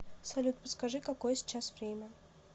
салют подскажи какое сейчас время